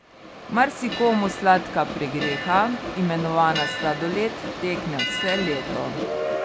Marsikomu sladka pregreha, imenovana sladoled, tekne vse leto.